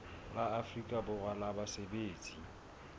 la afrika borwa la basebetsi